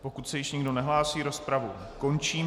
Pokud se již nikdo nehlásí, rozpravu končím.